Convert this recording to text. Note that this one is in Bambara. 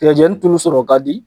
Tigɛjɛni tulu sɔrɔ kadi